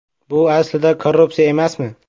Bu aslida korrupsiya emasmi?